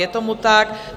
Je tomu tak.